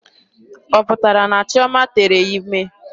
Ọ pụtara na Chioma tere ime?